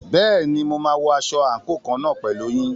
Bẹ́ẹ̀ni, mo máa wọ aṣọ àǹkóò kan náà pẹ̀lú yín.